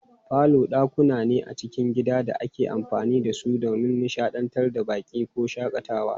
Falo dakuna ne a cikin gidan da ake amfani da su don nishadantar da baƙi ko shakatawa.